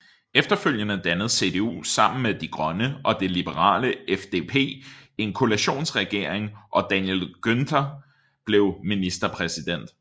Efterfølgende dannede CDU sammen med De Grønne og det liberale FDP en koalitionsregering og Daniel Günther blev ministerpræsident